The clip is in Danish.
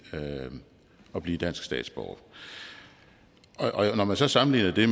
at blive dansk statsborger når man så sammenligner det